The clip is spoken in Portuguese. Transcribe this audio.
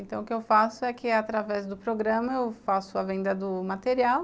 Então, o que eu faço é que, através do programa, eu faço a venda do material.